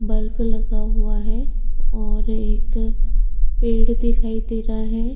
Bulb लगा हुआ है और एक पेड़ दिखाई दे रहा है।